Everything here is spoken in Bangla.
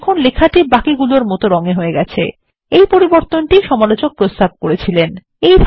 দেখুন লেখাটি বাকিগুলোর মত রং এ হয়ে গেছে এই পরিবর্তন সমালোচক প্রস্তাব করেছিলেন